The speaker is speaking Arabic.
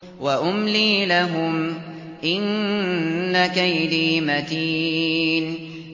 وَأُمْلِي لَهُمْ ۚ إِنَّ كَيْدِي مَتِينٌ